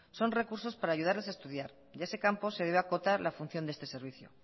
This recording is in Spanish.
son recursos para ayudarles a estudiar y a ese campo se debe de acotar la función de este servicio